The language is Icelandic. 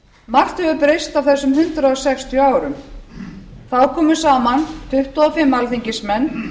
margt hefur breyst á þessum hundrað sextíu árum þá komu saman tuttugu og fimm alþingismenn